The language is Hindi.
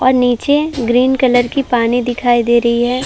और नीचे ग्रीन कलर की पानी दिखाई दे रही है।